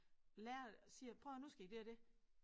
Lærer siger prøv at høre nu skal I det og det